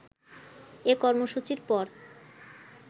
এ কর্মসূচির পর